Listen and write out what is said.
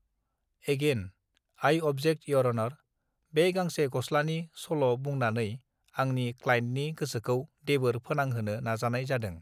again I object your honour बे गांसे गस्लानि सल बुंनानै आंनि क्लाइन्टनि गोसोखौ देबोर फोनांहोनो नाजानाय जादों